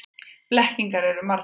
Blekkingarnar eru margar.